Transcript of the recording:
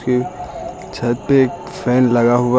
छत पे एक फैन लगा हुआ है।